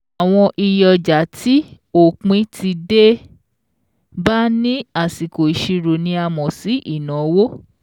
Àwọn iye ọjà tí òpin ti dé bá ní àsìkò ìṣirò ni a mọ̀ sí ìnáwó.